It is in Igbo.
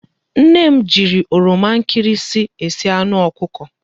Nne m jiri oroma nkịrịsị esi anụ ọkụkọ.